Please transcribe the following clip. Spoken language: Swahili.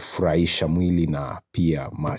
furahisha mwili na pia ambacho.